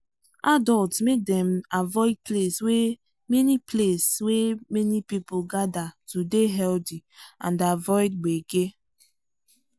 adults make dem avoid place wey many place wey many people gather to dey healthy and avoid gbege.